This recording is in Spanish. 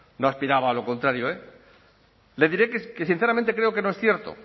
no aspiraba a lo contrario le diré que sinceramente creo que no es cierto